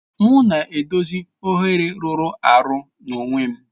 M na-edozi oghere rụrụ arụ n'onwe m.